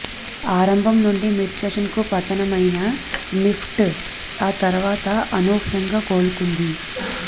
ఆరంభం నుంచి మిడ్ సెషన్కు పతనమైన నిఫ్టి ఆ తరవాత అనూహ్యంగా కోలుకుంది